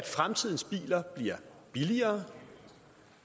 fremtidens biler bliver billigere